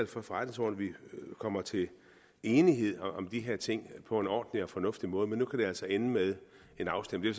for forretningsordenen vi kommer til enighed om de her ting på en ordentlig og fornuftig måde men nu kan det altså ende med en afstemning